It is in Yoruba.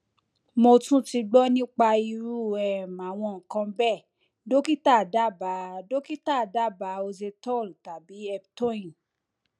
mo tún ti gbọ nípa irú um àwọn nǹkan bẹẹ dókítà dábàá dókítà dábàá oxetol tàbí eptoin